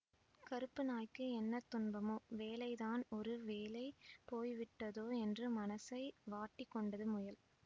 கறுப்பு நாய்க்கு என்ன துன்பமோ வேலைதான் ஒரு வேளை போய்விட்டதோ என்று மனசை வாட்டிக் கொண்டது முயல்